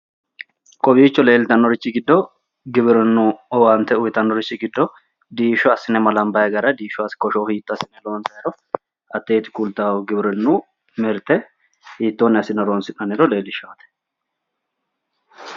kowiicho leeltannorichi giddo giwirinnu owaante uyiitannorichi giddo diishsho assine malambayi gara diishshote kosho hiitto assine loonsaniro hatteeti kulattahu giwirinnu mirte hitoonni assine horonsi'nanniro leellishanno